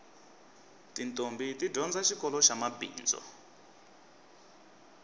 titombhi ti dyondza xikoloxa mabindzu